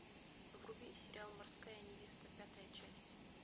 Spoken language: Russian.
вруби сериал морская невеста пятая часть